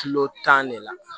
Kilo tan de la